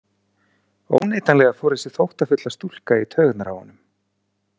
Óneitanlega fór þessi þóttafulla stúlka í taugarnar á honum.